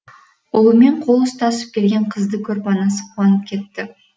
ұлымен қол ұстасып келген қызды көріп анасы қуанып кетті